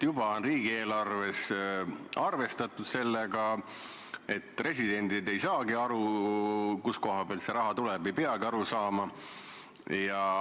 Riigieelarves on juba arvestatud sellega, et residendid ei saagi aru, kust kohast see raha tuleb, ega peagi aru saama.